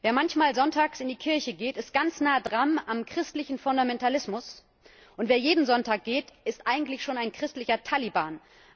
Wer manchmal sonntags in die Kirche geht, ist ganz nah dran am christlichen Fundamentalismus, und wer jeden Sonntag geht, ist eigentlich schon ein christlicher Taliban.